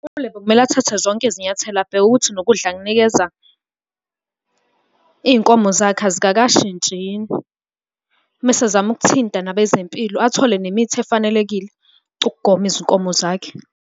ULebo kumele athathe zonke izinyathelo abheke ukuthi nokudla akunikeza iy'nkomo zakhe azikashintshi yini. Mese ezama ukuthinta nabezempilo, athole nemithi efanelekile ukugoma izinkomo zakhe.